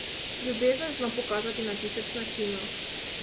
Ljubezen zna pokazati na tisoč načinov.